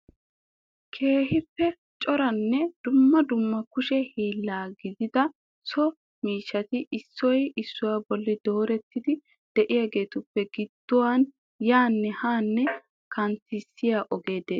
Keehippe coranne dumma dumma kushe hiilan giigida so miishshati issoy issuwa bolli doorettidi de'iyaageetuppe gidduwaa yaanne haanne kanttissiya ogee de'ees.